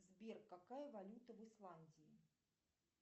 сбер какая валюта в исландии